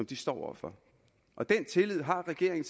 de står over for og den tillid har regeringen